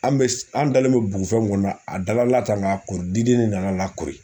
An bɛ an dalen bɛ bugufɛn min kɔnɔ , a dala tan , k'a ko diden nan'a kori!